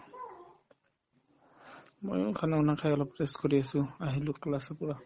ময়ো khana banana খাই অলপ rest কৰি আছো আহিলো class ৰ পৰা